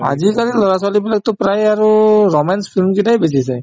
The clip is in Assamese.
আজিকালিৰ লৰা-ছোৱালীবিলাকতো প্ৰায়ে আৰু romance film কেইটাই বেছি চায়